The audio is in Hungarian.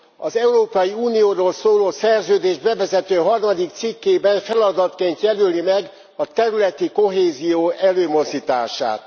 Az Európai Unióról szóló szerződés bevezető 3. cikkében feladatként jelöli meg a területi kohézió előmozdítását.